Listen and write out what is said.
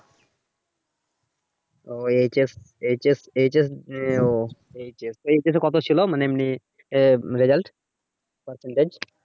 ও আহ কত ছিলো মানে এমনি আহ result percentage